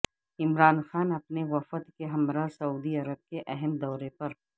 عمران خان اپنے وفد کے ہمراہ سعودی عرب کے اہم دورے پر